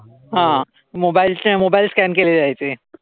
Mobile चे mobile scan केले जायचे.